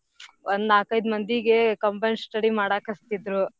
ಒಂದ್ ನಾಕೈದ್ ಮಂದೀಗೆ combined study ಮಾಡಾಕ್ ಹಚ್ತಿದ್ರೂ.